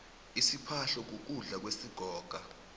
isiphahlo kukudla kwesigoga